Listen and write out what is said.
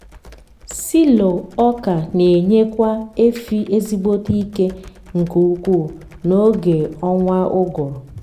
silo ọka n’enyekwa efi ezigbote ike nke ukwu na oge ọnwa ụgụrụ